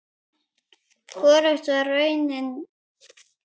Hvorugt var raunin.